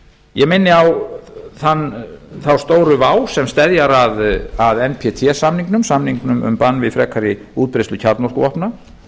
ég minni á þá stóru vá sem steðjar að átt samningnum samningnum um bann við frekari útbreiðslu kjarnorkuvopna